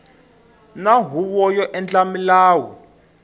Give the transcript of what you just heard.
na huvo yo endla milawu